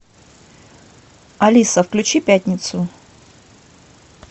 алиса включи пятницу